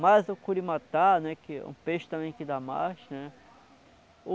Mas o curimatá, né, que é um peixe também que dá mais, né?